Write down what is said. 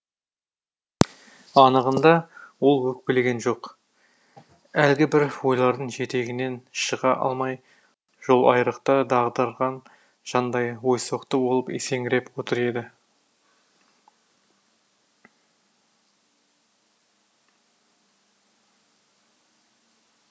анығында ол өкпелеген жоқ әлгібір ойлардың жетегінен шыға алмай жолайрықта дағдарған жандай ойсоқты болып есеңгіреп отыр еді